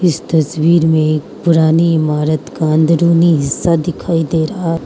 इस तस्वीर में एक पुरानी इमारत का अंदरुनी हिस्सा दिखाई दे रहा --